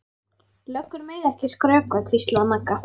Löggur mega ekki skrökva, hvíslaði Magga.